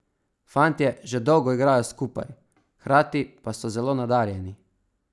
Fantje že dolgo igrajo skupaj, hkrati pa so zelo nadarjeni.